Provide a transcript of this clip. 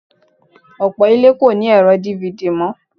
Ọ̀pọ̀ ilé ni kò ní ẹ̀rọ DVD mọ́